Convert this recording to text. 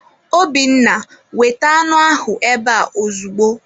Obinna, weta anụ ahụ ebe a ozugbo!